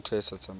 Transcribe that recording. ba se ke ba di